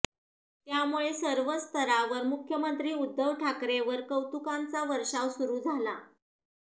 त्यामुळे सर्वच स्तरावर मुख्यमंत्री उद्धव ठाकरेंवर कौतुकाचा वर्षाव सुरु झाला